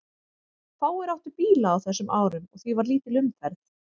Fáir áttu bíla á þessum árum og því var lítil umferð.